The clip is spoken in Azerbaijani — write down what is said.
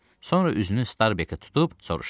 Sonra üzünü Starbekə tutub soruşdu.